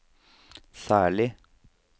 særlig